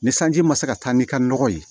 Ni sanji ma se ka taa n'i ka nɔgɔ ye